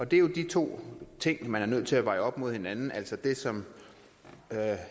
det er jo de to ting man er nødt til at veje op mod hinanden altså det som herre